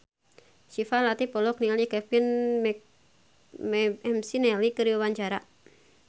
Syifa Latief olohok ningali Kevin McNally keur diwawancara